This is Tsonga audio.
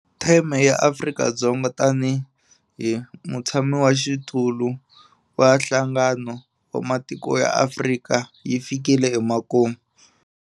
Theme ya Afrika-Dzonga tanihi mutshamaxitulu wa Nhlangano wa Matiko ya Afrika yi fikile emakumu.